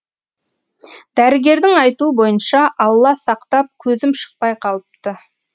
дәрігердің айтуы бойынша алла сақтап көзім шықпай қалыпты